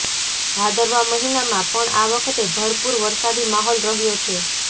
ભાદરવા મહિનામાં પણ આ વખતે ભરપૂર વરસાદી માહોલ રહ્યો છે